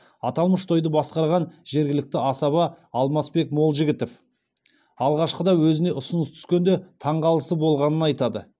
аталмыш тойды басқарған жергілікті асаба алмасбек молжігітов алғашқыда өзіне ұсыныс түскенде таңғалысы болғанын айтады